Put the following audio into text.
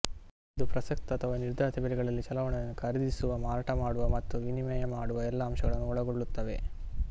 ಇದು ಪ್ರಸಕ್ತ ಅಥವಾ ನಿರ್ಧಾರಿತ ಬೆಲೆಗಳಲ್ಲಿ ಚಲಾವಣೆಗಳನ್ನು ಖರೀದಿಸುವ ಮಾರಾಟಮಾಡುವ ಮತ್ತು ವಿನಿಮಯ ಮಾಡುವ ಎಲ್ಲ ಅಂಶಗಳನ್ನು ಒಳಗೊಳ್ಳುತ್ತದೆ